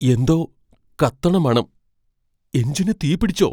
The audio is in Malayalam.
എന്തോ കത്തണ മണം. എഞ്ചിന് തീപിടിച്ചോ?